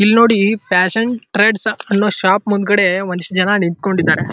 ಇಲ್ನೋಡಿ ಪ್ಯಾಸ್ಸೇನ್ಜೆಟ್ರೇಡ್ಸ್ ಅನ್ನೋ ಶಾಪ್ ಮುಂದೆ ಒಂದಿಷ್ಟು ಜನ ನಿಂಥಂಕೊಂಡಿದ್ದಾರೆ.